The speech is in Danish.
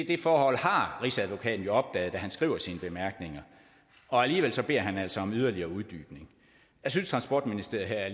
det forhold har rigsadvokaten jo opdaget da han skriver sine bemærkninger og alligevel beder han altså om en yderligere uddybning jeg synes transportministeriet her